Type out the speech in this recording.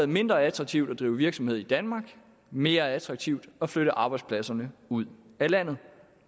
mindre attraktivt at drive virksomhed i danmark mere attraktivt at flytte arbejdspladserne ud af landet